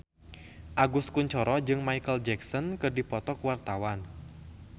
Agus Kuncoro jeung Micheal Jackson keur dipoto ku wartawan